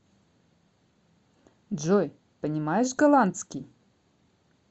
джой понимаешь голландский